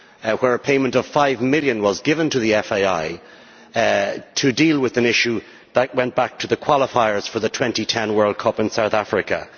where a payment of EUR 5 million was given to the FAI to deal with an issue that went back to the qualifiers for the 2010 World Cup in South Africa.